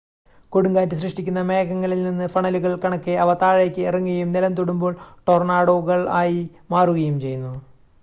"കൊടുങ്കാറ്റ് സൃഷ്ടിക്കുന്ന മേഘങ്ങളിൽനിന്ന് ഫണലുകൾ കണക്കെ അവ താഴേക്ക് ഇറങ്ങുകയും നിലംതൊടുമ്പോൾ "ടൊർണാഡോകൾ" ആയി മാറുകയും ചെയ്യുന്നു.